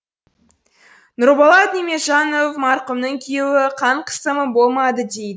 нұрболат нимежанов марқұмның күйеуі қан қысымы болмады дейді